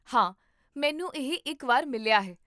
ਹਾਂ, ਮੈਨੂੰ ਇਹ ਇੱਕ ਵਾਰ ਮਿਲਿਆ ਹੈ